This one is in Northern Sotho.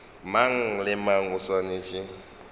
mang le mang o swanetše